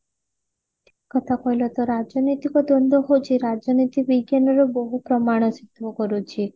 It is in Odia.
କଥା କହିଲ ତ ରାଜନୈତିକ ଦ୍ଵନ୍ଦ ହଉଛି ରାଜନୀତି ବିଜ୍ଞାନର ବହୁ ପ୍ରମାଣ ସିଦ୍ଧ କରୁଛି